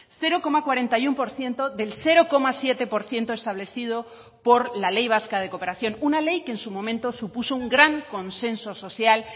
cero coma cuarenta y uno por ciento del cero coma siete por ciento establecido por la ley vasca de cooperación una ley que en su momento supuso un gran consenso social